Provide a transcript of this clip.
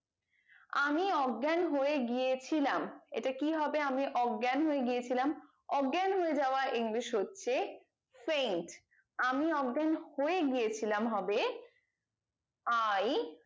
আমি অজ্ঞান হয়ে গিয়েছিলাম এটা কি হবে আমি অজ্ঞান হয়ে গিয়েছিলাম অজ্ঞান হয়ে যাওয়া english হচ্ছে sense আমি অজ্ঞান হয়ে গিয়েছিলাম হবে i